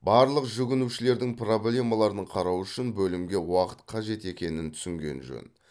барлық жүгінушілердің проблемаларын қарау үшін бөлімге уақыт қажет екенін түсінген жөн